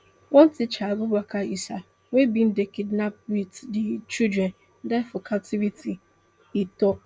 one teacher abubakar issa wey bin dey kidnapped wit di children die for captivity e tok